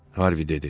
Harvi dedi.